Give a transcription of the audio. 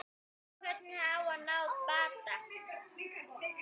Hvernig á að ná bata?